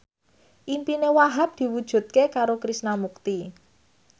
impine Wahhab diwujudke karo Krishna Mukti